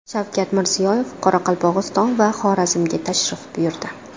Shavkat Mirziyoyev Qoraqalpog‘iston va Xorazmga tashrif buyurdi.